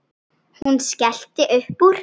Hann er refsing mín.